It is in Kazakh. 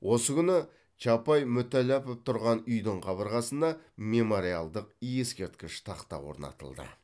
осы күні чапай мүтәлләпов тұрған үйдің қабырғасына мемориалдық ескерткіш тақта орнатылды